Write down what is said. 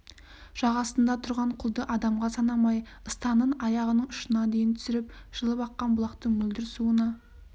жағасында тұрған құлды адамға санамай ыстанын аяғының ұшына дейін түсіріп жылып аққан бұлақтың мөлдір суына